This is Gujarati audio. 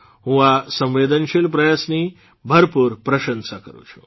હું આ સંવેદનશીલ પ્રયાસની ભરપૂર પ્રશંસા કરૂં છું